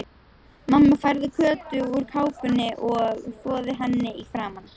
Mamma færði Kötu úr kápunni og þvoði henni í framan.